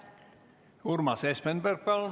Urmas Espenberg, palun!